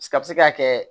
A bɛ se ka kɛ